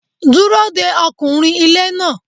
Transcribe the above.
Dúró de ọkùnrin ilé náà.